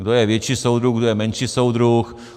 Kdo je větší soudruh, kdo je menší soudruh.